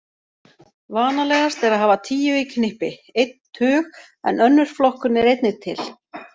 Vanalegast er að hafa tíu í knippi, einn tug, en önnur flokkun er einnig til.